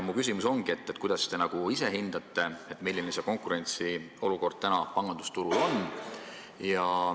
Mu küsimus ongi: kuidas te hindate, milline konkurentsiolukord praegu pangandusturul on?